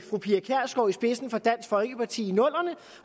fru i spidsen for dansk folkeparti i nullerne